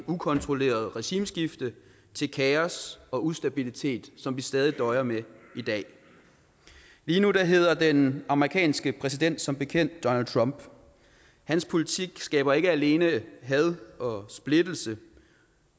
ukontrolleret regimeskifte til kaos og ustabilitet som vi stadig døjer med i dag lige nu hedder den amerikanske præsident som bekendt donald trump hans politik skaber ikke alene had og splittelse